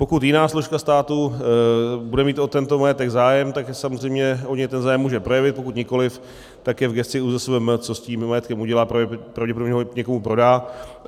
Pokud jiná složka státu bude mít o tento majetek zájem, tak samozřejmě o něj ten zájem může projevit, pokud nikoliv, tak je v gesci ÚZSVM, co s tím majetkem udělá, pravděpodobně ho někomu prodá.